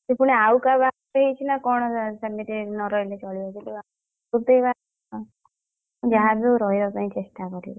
ସେ ପୁଣି ଆଉ କାହା ବାହା ଘର ହେଇଛି ନା କଣ ସେମିତି ନ ରହିଲେ ଚଳିବ ଗୋଟିଏ ବାହାଘର ଯାହା ବି ହଉ ରହିବା ପାଇଁ ଚେଷ୍ଟା କରିବି।